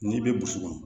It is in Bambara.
N'i bɛ burusi kɔnɔ